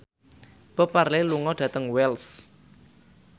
Bob Marley lunga dhateng Wells